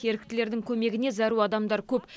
еріктілердің көмегіне зәру адамдар көп